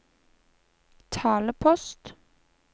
talepost